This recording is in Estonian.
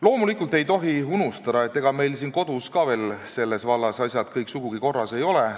Loomulikult ei tohi unustada, et ega meil siin kodus ka veel selles vallas asjad kõik sugugi korras ei ole.